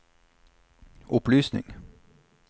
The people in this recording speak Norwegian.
opplysning